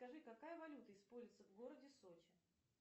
скажи какая валюта используется в городе сочи